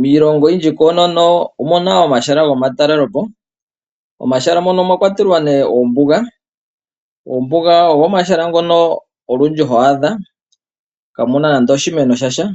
Miilongo oyindji koonono omu na omahala gomatalele po. Momahala mono omwa kwatelwa nduno oombuga. Oombuga ogo omahala ngono ho adha kaamu na nadno oshimeno sha sha,